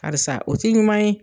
Karisa o tI ɲuman ye.